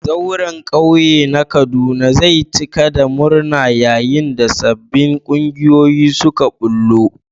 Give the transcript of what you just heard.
Zauren kauye na Kaduna zai cika da murna yayin da sabbin kungiyoyi suka bullo.